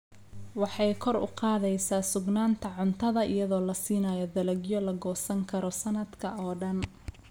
Waxay kor u qaadaysaa sugnaanta cuntada iyadoo la siinayo dalagyo la goosan karo sannadka oo dhan.